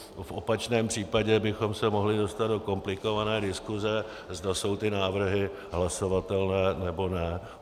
V opačném případě bychom se mohli dostat do komplikované diskuse, zda jsou ty návrhy hlasovatelné, nebo ne.